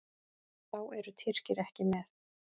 Þá eru Tyrkir ekki með.